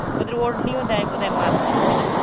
ওদের অরনী ও দেয় বধায় মাথায় হ্যাঁ না?